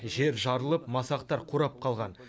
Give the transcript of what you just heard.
жер жарылып масақтар қурап қалған